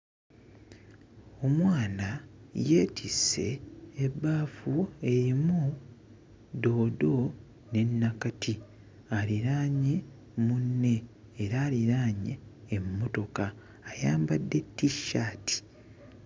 Omwana yeetisse ebbaafu erimu ddoodo ne nnakati aliraanye munne era aliraanye emmotoka ayambadde t-shirt.